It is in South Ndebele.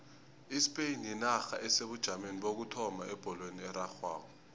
ispain yinarha esebujameni bokuthoma ebholweni erarhwako